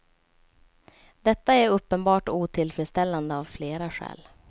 Detta är uppenbart otillfredsställande av flera skäl.